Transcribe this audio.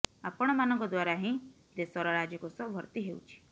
ଆପଣ ମାନଙ୍କ ଦ୍ବାରା ହିଁ ଦେଶର ରାଜକୋଷ ଭର୍ତ୍ତି ହେଉଛି